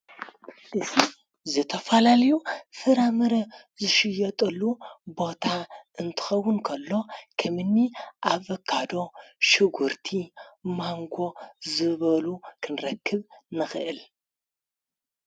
እዝ ዝተፋላልዩ ፍራምረ ዝሽየጠሉ ቦታ እንትኸው ን ንንኽእልምኒ ኣብካዶ ሽጕርቲ ማንጎ ዝበሉ ክንረክብ ንኽእል።